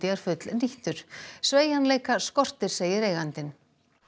er fullnýttur sveigjanleika skortir segir eigandinn